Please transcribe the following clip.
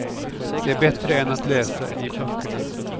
Det är bättre än att läsa i böckerna.